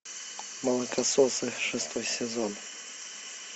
молокососы шестой сезон